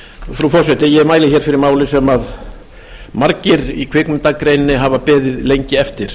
frú forseti ég mæli hér fyrir máli sem margir í kvikmyndagreininni hafa beðið lengi eftir